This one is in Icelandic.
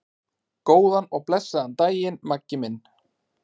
Góðan og blessaðan daginn, Maggi minn.